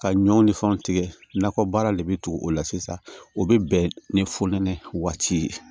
Ka ɲɔ ni fɛnw tigɛ nakɔ baara de bɛ tugu o la sisan o bɛ bɛn ni ye